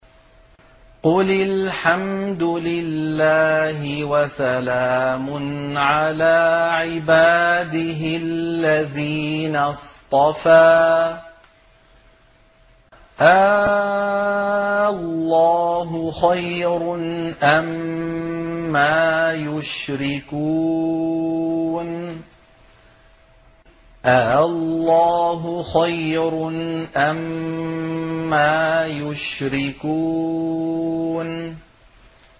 قُلِ الْحَمْدُ لِلَّهِ وَسَلَامٌ عَلَىٰ عِبَادِهِ الَّذِينَ اصْطَفَىٰ ۗ آللَّهُ خَيْرٌ أَمَّا يُشْرِكُونَ